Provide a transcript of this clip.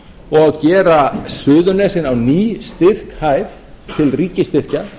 og gera suðurnesin á ný styrkhæf til ríkisstyrkja